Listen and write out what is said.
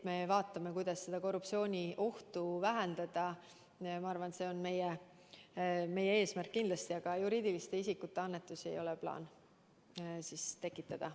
Vaadata, kuidas korruptsiooniohtu vähendada, on meie eesmärk kindlasti, aga juriidiliste isikute annetusi ei ole plaanis lubada.